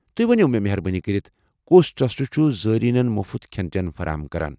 تُہۍ ؤنو مےٚ مہربٲنی کٔرتھ کُس ٹرٛسٹ چھُ زٲیرینن مُفت کھٮ۪ن چٮ۪ن فراہم کران؟